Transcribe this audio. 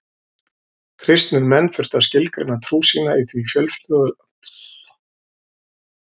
Kristnir menn þurftu að skilgreina trú sína í því fjölþjóðlega umhverfi sem rómverska ríkið var.